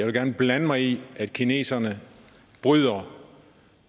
vil blande mig i at kineserne bryder